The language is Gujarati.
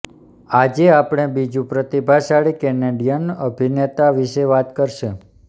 આજે આપણે બીજું પ્રતિભાશાળી કેનેડિયન અભિનેતા વિશે વાત કરશે